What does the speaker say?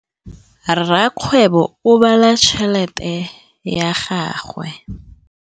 Rakgwêbô o bala tšheletê ya gagwe.